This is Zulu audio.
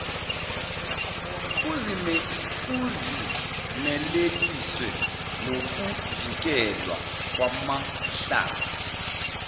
kuzimeleliswe nokuvikelwa kwamahlathi